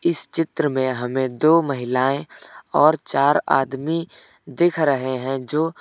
इस चित्र में हमें दो महिलाएं और चार आदमी दिख रहे हैं जो--